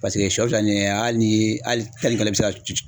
Paseke sɔ filɛ nin ye hali ni hali i bɛ se ka